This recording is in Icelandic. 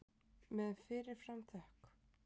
Með fyrir fram þökk.